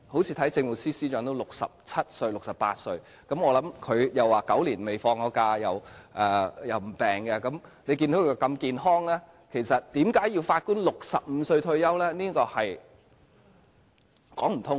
正如政務司司長也67歲、68歲，我聽他說已9年未曾放假，又沒有生病，他如此健康，為何要法官65歲便退休？